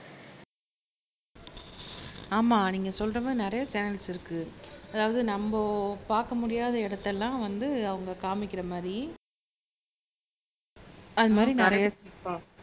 ஆமா நீங்க சொல்ற மாதிரி நிறைய சேனல்ஸ் இருக்கு அதாவது நம்ம பார்க்க முடியாத இடத்தை எல்லாம் வந்து அவங்க காமிக்கிற மாதிரி அது மாதிரி நிறைய